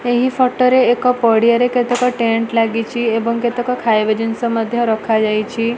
ଏହି ଫଟୋ ରେ ଏକ ପଡ଼ିଆରେ କେତେକ ଟେଣ୍ଟ ଲାଗିଚି ଏବଂ କେତେକ ଖାଇବା ଜିନିଷ ମଧ୍ୟ ରଖା ଯାଇଛି।